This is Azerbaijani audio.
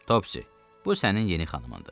Topsy, bu sənin yeni xanımındır.